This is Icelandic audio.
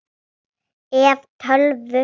ef. tölvu